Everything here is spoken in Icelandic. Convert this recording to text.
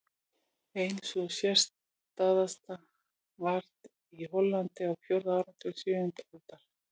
Ein sú sérstæðasta varð í Hollandi á fjórða áratug sautjándu aldar.